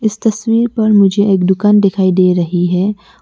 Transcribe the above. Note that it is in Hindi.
इस तस्वीर पर मुझे एक दुकान दिखाई दे रही है।